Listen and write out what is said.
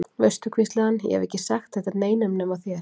Veistu, hvíslaði hann, ég hef ekki sagt þetta neinum nema þér.